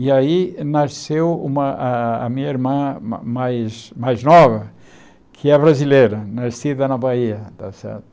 E aí nasceu uma a minha irmã ma mais mais nova, que é brasileira, nascida na Bahia, tá certo?